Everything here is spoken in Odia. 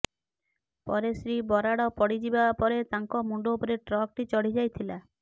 ପରେ ଶ୍ରୀ ବରାଡ଼ ପଡିଯିବା ପରେ ତାଙ୍କ ମୁଣ୍ଡ ଉପରେ ଟ୍ରକଟି ଚଢିଯାଇଥିଲା